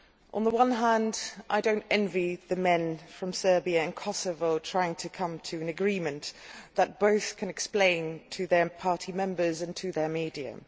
On the one hand I do not envy the men from Serbia and Kosovo trying to come to an agreement that both can explain to their party members and to their media.